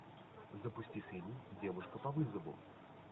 запусти фильм девушка по вызову